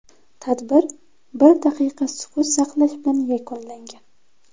Tadbir bir daqiqa sukut saqlash bilan yakunlangan.